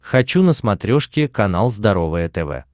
хочу на смотрешке канал здоровое тв